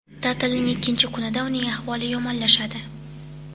Ta’tilning ikkinchi kunida uning ahvoli yomonlashadi.